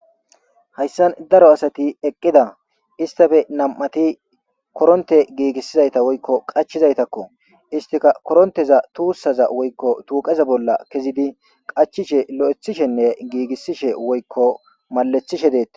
hayssan daro asati eqqida istafe nam7ati koronte giigissizayta woykko qachizaytakko istika koronteza tuussaza woykko tuuqeza bolla kezidi qachishe lo7ethishenne giigissishe woykko malethishe deett